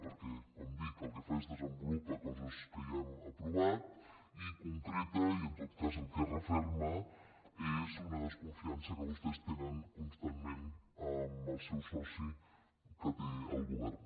perquè com dic el que fa és que desenvolupa coses que ja hem aprovat i concreta i en tot cas el que referma és una desconfiança que vostès tenen constantment amb el seu soci que tenen al govern